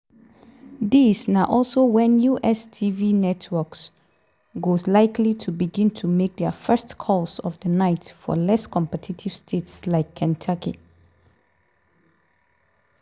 dis na also wen us tv networks go likely to begin to make dia first calls of di night for less competitive states like kentucky.